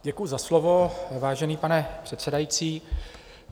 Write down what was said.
Děkuji za slovo, vážený pane předsedající.